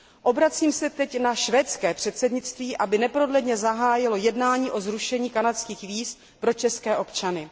Obracím se teď na švédské předsednictví, aby neprodleně zahájilo jednání o zrušení kanadských víz pro české občany.